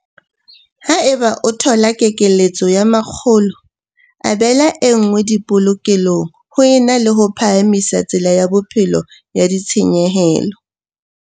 Haeba o thola kekeletso ya mokgolo, abela e nngwe dipolokelong ho e na le ho phahamisa tsela ya bophelo ya ditshenyehelo.